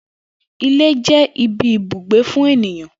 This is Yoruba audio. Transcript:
Ilé jé̩ ibi ibùgbé fún ènìyan